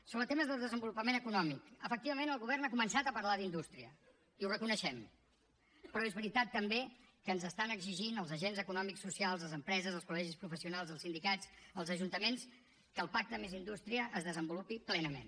sobre temes de desenvolupament econòmic efectivament el govern ha començat a parlar d’indústria i ho reconeixem però és veritat també que ens estan exigint els agents econòmics socials les empreses els col·legis professionals els sindicats els ajuntaments que el pacte més indústria es desenvolupi plenament